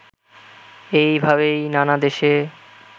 এইভাবেই নানা দেশে